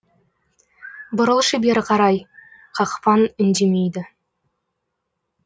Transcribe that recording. бұрылшы бері қарай қақпан үндемейді